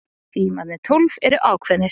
Tímarnir tólf eru ákveðnir.